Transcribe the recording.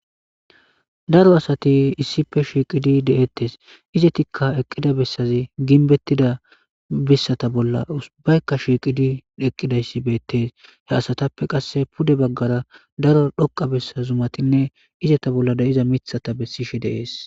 Daro asati issife shiiqidi deettes izetikka eqqida bessazi ginbettida bissata bolla ubaykka shiiqidi eqqidayssi beettees he asatappe qasse pude baggara daro dhoqa bessa zumatinne izeta bolla de'iza mithata bessishe deees.